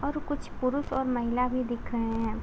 और कुछ पुरुष और महिला भी दिख रहे हैं।